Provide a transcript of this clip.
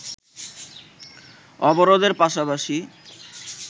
অবরোধের পাশাপাশি